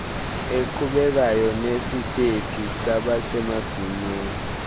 eqhubekekayo nesithethe sabasemagunyeni